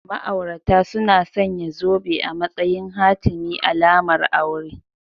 Ma'aurata suna sanya zobe a matsayin hatimi / alamar aure